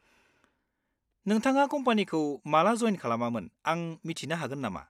नोंथाङा कम्पानिखौ माला जयेन खालामामोन आं मिथिनो हागोन नामा?